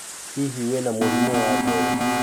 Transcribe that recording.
hihi wina murimũ wa ngoro?